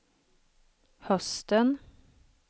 hösten